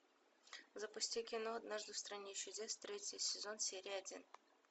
запусти кино однажды в стране чудес третий сезон серия один